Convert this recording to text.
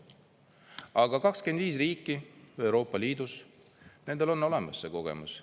Aga 25 riiki Euroopa Liidus, nendel on olemas see kogemus.